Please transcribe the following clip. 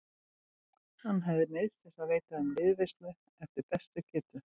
Hann hafði neyðst til að veita þeim liðveislu eftir bestu getu.